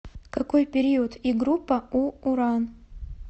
какой период и группа у уран